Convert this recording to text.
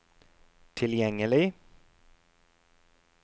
tilgjengelig